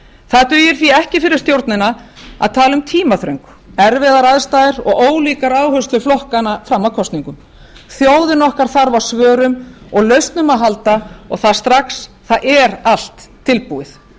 það dugir því ekki fyrir stjórnina að tala um tímaþröng erfiðar aðstæður og ólíkar áherslur flokkanna fram að kosningum þjóðin okkar þarf á svörum og lausnum að halda og það strax það er allt tilbúið